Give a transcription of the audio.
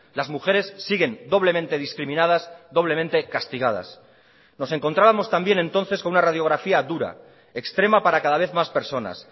las mujeres siguen doblemente discriminadas doblemente castigadas nos encontrábamos también entonces con una radiografía dura extrema para cada vez más personas